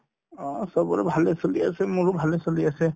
অ, চবৰে ভালে চলি আছে মোৰো ভালে চলি আছে